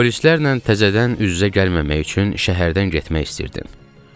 Polislərlə təzədən üz-üzə gəlməmək üçün şəhərdən getmək istəyirdim.